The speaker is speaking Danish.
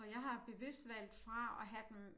Og jeg har bevidst valgt fra at have dem